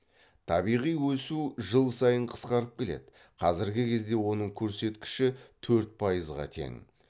табиғи өсу жыл сайын қысқарып келеді қазіргі кезде оның көрсеткіші төрт пайызға тең